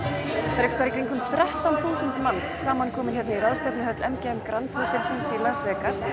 einhverstaðar í kringum þrettán þúsund manns samankomin hérna í ráðstefnuhöll m g m grand Hótel hér í Las Vegas